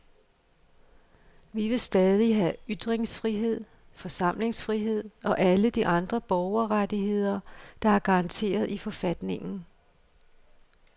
Vi vil stadig have ytringsfrihed, forsamlingsfrihed og alle de andre borgerrettigheder, der er garanteret i forfatningen.